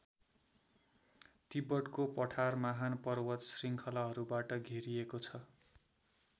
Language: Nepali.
तिब्बतको पठार महान पर्वत शृङ्खलाहरूबाट घेरिएको छ।